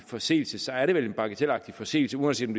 forseelse så er det vel en bagatelagtig forseelse uanset om